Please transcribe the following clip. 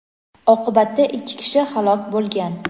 oqibatda ikki kishi halok bo‘lgan.